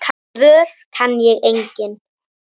Svör kann ég engin.